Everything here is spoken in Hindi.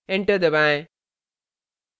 enter दबाएँ